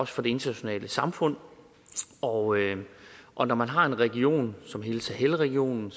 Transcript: for det internationale samfund og og når man har en region som hele sahelregionen